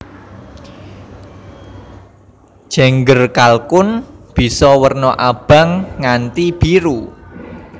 Jengger kalkun bisa werna abang nganti biru